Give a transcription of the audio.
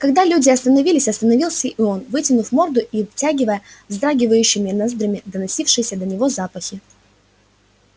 когда люди остановились остановился и он вытянув морду и втягивая вздрагивающими ноздрями доносившиеся до него запахи